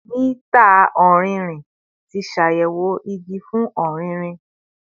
Mita ọrinrin ti ṣayẹwo igi fun ọririn